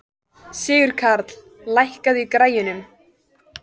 Sigurkarl, lækkaðu í græjunum.